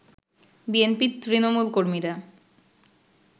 BNP Trinamool নেতাকর্মীরা